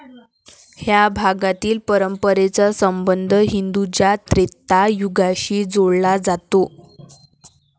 ह्या भागातील परंपरेचा संबंध हिंदूंच्या त्रेता युगाशी जोडला जातो.